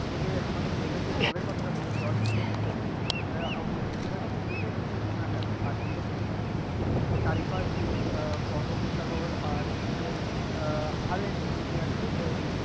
ওইযে আমাদের দেব্রাজ যে জলের কথা বলেছিল জল কিনে খেতে হচ্ছে ওই জায়গাটা পুরোটাই হচ্ছে নোনা জায়গা আর যেহেতু সুন্দরবনের চারিপাশ দিয়ে আহ বঙ্গ প্রসাগর আর এদিকে আরও একটি নদী আছে এদিকে